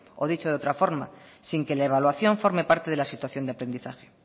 o dicho de otra forma sin que la evaluación forme parte de la situación de aprendizaje